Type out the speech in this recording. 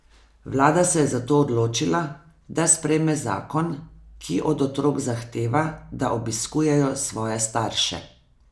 Vlada se je zato odločila, da sprejme zakon, ki od otrok zahteva, da obiskujejo svoje starše.